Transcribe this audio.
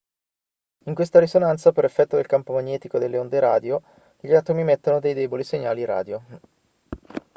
in questa risonanza per effetto del campo magnetico e delle onde radio gli atomi emettono dei deboli segnali radio